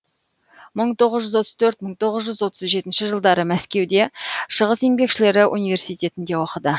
мың тоғыз жүз отыз төрт мың тоғыз жүз отыз жетінші жылдары мәскеуде шығыс еңбекшілері университетінде оқыды